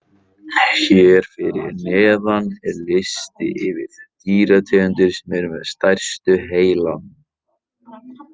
Hér fyrir neðan er listi yfir þær dýrategundir sem eru með stærstu heilana.